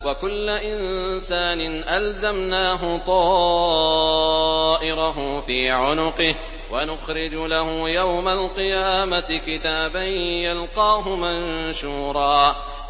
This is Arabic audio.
وَكُلَّ إِنسَانٍ أَلْزَمْنَاهُ طَائِرَهُ فِي عُنُقِهِ ۖ وَنُخْرِجُ لَهُ يَوْمَ الْقِيَامَةِ كِتَابًا يَلْقَاهُ مَنشُورًا